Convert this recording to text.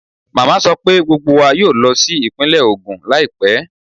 Màmá mi sọ pé gbogbo wa yóò lọ sí ìpínlẹ̀ Ogun láìpẹ́